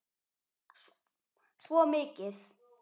Svo mikið.